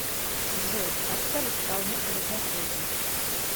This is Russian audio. джой поставь исполнителя захози